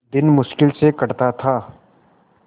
दिन मुश्किल से कटता था